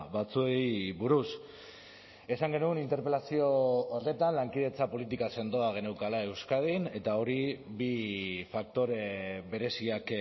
batzuei buruz esan genuen interpelazio horretan lankidetza politika sendoa geneukala euskadin eta hori bi faktore bereziak